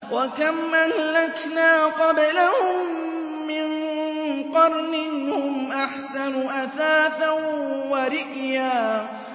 وَكَمْ أَهْلَكْنَا قَبْلَهُم مِّن قَرْنٍ هُمْ أَحْسَنُ أَثَاثًا وَرِئْيًا